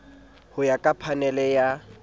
ho ya ka phanele ya